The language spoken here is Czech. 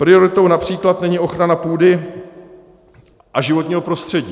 Prioritou například není ochrana půdy a životního prostředí.